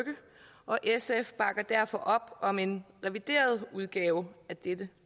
og sf bakker derfor op om en revideret udgave af dette